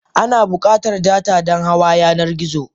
Ana bukatar data Dan hawa yanar gizo.